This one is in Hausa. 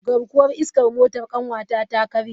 Garkuwar iskar motar kanwata ta karye.